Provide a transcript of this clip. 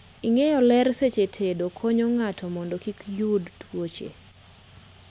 ng'iyo ler seche tedo konyo ng'ato mondo kikoyud tuoche